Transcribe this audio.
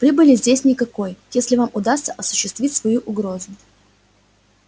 прибыли здесь никакой если вам удастся осуществить свою угрозу